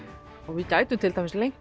við gætum til dæmis lengt